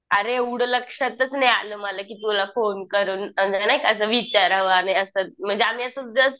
अरे एवढं लक्षातच नाही आलं मला की तुला फोन करून नाही का असं विचारावं आणि असं म्हणजे आम्ही असं जस्ट